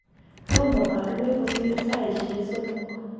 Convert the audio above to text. tomo arue kosir saisie somok.